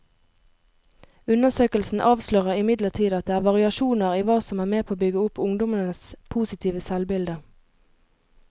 Undersøkelsen avslører imidlertid at det er variasjoner i hva som er med på å bygge opp ungdommenes positive selvbilde.